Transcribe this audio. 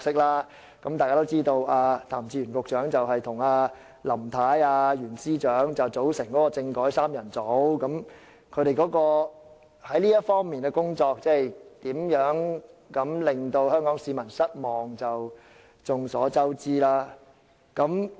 一如大家所知，譚志源局長與"林太"及袁司長組成"政改三人組"，他們在這方面的工作是如何令香港市民失望，已是眾所周知。